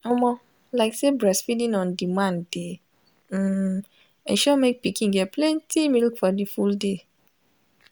omo lyk say breastfeeding on demand de um ensure make pikin get plenty milk for the full day